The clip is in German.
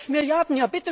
Sechs Milliarden!